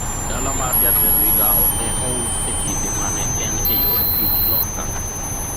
dala mar jatend mogawo ne ous e kinde mane en e yor tich Loka